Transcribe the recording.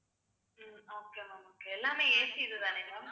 உம் okay ma'am okay எல்லாமே AC இதுதானேங்க ma'am